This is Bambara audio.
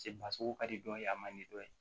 Se basogo ka di dɔ ye a man di dɔ ye